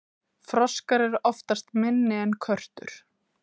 froskar eru oftast minni en körtur